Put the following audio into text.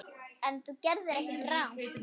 En þú gerðir ekkert rangt.